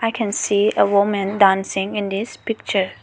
we can see a woman dancing in this picture.